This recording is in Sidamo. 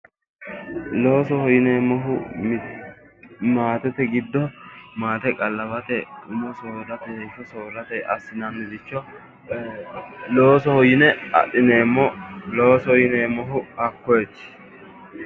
Loosoho yineemmohu maatete giddo maate qallawate heeshsho soorrate assinanniricho loosoho yine adhineemmo loosoho yineemohu hakkoyeti